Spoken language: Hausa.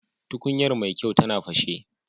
Tukuyar Mai kyau ta fashe.